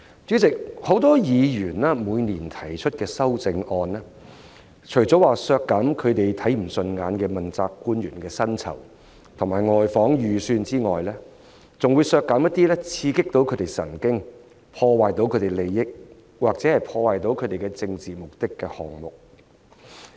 主席，很多議員每年提出的修正案，除了削減他們看不順眼的問責官員的薪酬及外訪預算開支外，還會削減一些刺激他們的神經、損害他們的利益或破壞他們的政治目的的項目。